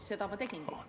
Seda ma tegingi.